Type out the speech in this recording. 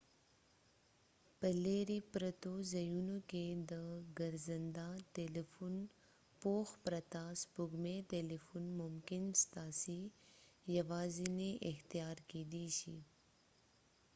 په لیرې پرتو ځایونو کې د ګرځنده تلیفون پوښښ پرته سپوږمکۍ تلیفون ممکن ستاسي یوازینۍ اختیار کيدي شي